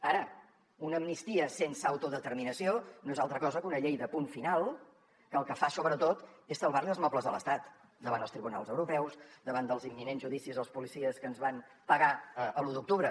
ara una amnistia sense autodeterminació no és altra cosa que una llei de punt final que el que fa sobretot és salvar li els mobles a l’estat davant els tribunals europeus davant dels imminents judicis als policies que ens van pegar l’u d’octubre